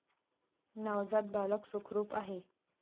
नवजात बालक सुखरूप आहे.